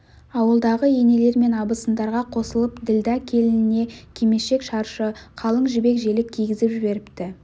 ауылдағы енелер мен абысындарға қосылып ділдә келініне кимешек-шаршы қалың жібек желек кигізіп жіберіпті